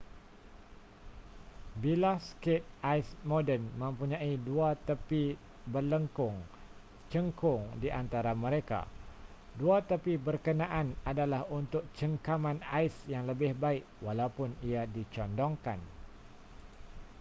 bilah skate ais moden mempunyai dua tepi berlengkung cengkung di antara mereka dua tepi berkenaan adalah untuk cengkaman ais yang lebih baik walaupun ia dicondongkan